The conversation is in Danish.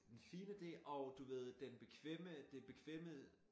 Den fine del og du ved den bekvemme det bekvemme øh